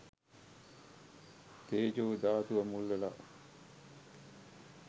තේජෝ ධාතුව මුල් වෙලා.